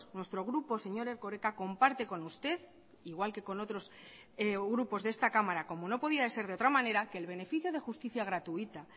nuestro grupo señor erkoreka comparte con usted igual que con otros grupos de esta cámara como no podía ser de otra manera que el beneficio de justicia gratuita